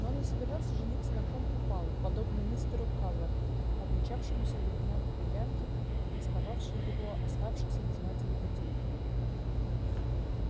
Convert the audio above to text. но он не собирался жениться на ком попало подобно мистеру калверту обвенчавшемуся с гувернанткой-янки пестовавшей его оставшихся без матери детей